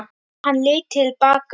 Hann leit til baka.